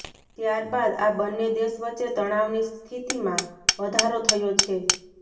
ત્યારબાદ આ બંને દેશ વચ્ચે તણાવની સ્થિતીમા વધારો થયો છે